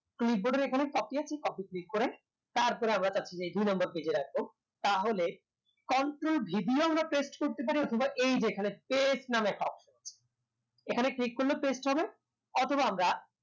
clipboard এর এখানে copy আছে copy click করে তারপরে আমরা দুই number page এ রাখবো তাহলে control v দিয়েও আমরা paste করতে পারি অথবা এই যে এখানে paste নাম একটা option আছে এখানে click করলেও paste হবে